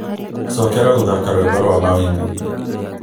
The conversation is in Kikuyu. cokera gũthaka rwĩmbo rwa mawimbi